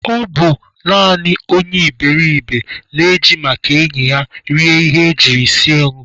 Ọ bụ naanị onye iberiribe na-eji maka enyi ya rie ihe ejiri sie ngọ